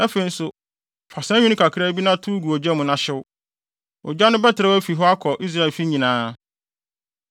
Afei nso, fa saa nwi no kakra bi na tow gu ogya mu na hyew. Ogya no bɛterɛw afi hɔ akɔ Israelfi nyinaa.